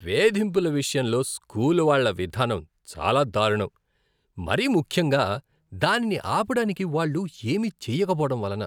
వేధింపుల విషయంలో స్కూల్ వాళ్ళ విధానం చాలా దారుణం, మరీ ముఖ్యంగా దానిని ఆపడానికి వాళ్ళు ఏమీ చేయకపోవడం వలన.